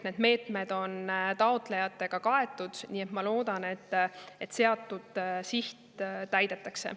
Need meetmed on taotlejatega kaetud, nii et ma loodan, et seatud siht täidetakse.